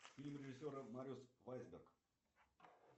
фильм режиссера мариус вайсберг